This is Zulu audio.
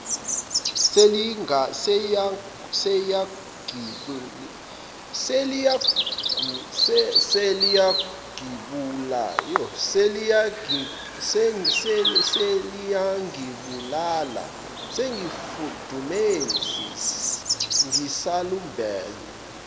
seliyangibulala ngesifudumezi ngisalembula